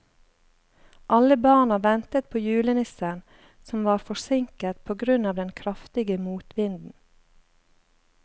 Alle barna ventet på julenissen, som var forsinket på grunn av den kraftige motvinden.